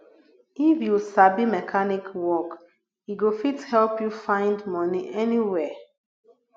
if you sabi mechanic work e go fit help you find money anywhere